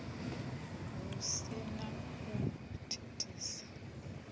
hu si na u thithisa